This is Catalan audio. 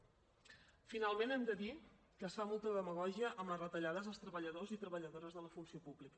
finalment hem de dir que es fa molta demagògia amb les retallades als treballadors i treballadores de la funció pública